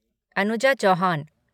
Anuja Chauhan